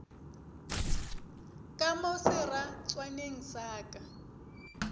ka mo seratswaneng sa ka